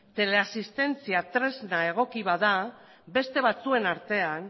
teleasistentzia tresna egoki bat da beste batzuen artean